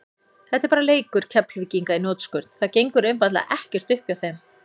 Þetta er bara leikur Keflvíkinga í hnotskurn, það gengur einfaldlega ekkert upp hjá þeim.